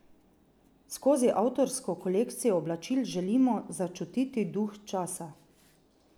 Skozi avtorsko kolekcijo oblačil želimo začutiti duh časa.